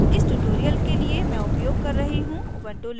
इस tutorial के लिए मैं उपयोग कर रही हूँ